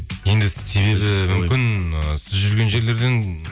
енді себебі мүмкін і сіз жүрген жерлерден